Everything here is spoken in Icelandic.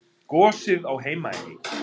Gosið á Heimaey.